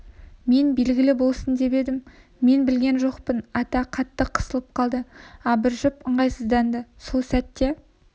мен белгілі болсын деп едім мен білген жоқпын ата қатты қысылып қалды абыржып ыңғайсызданды сол сәтте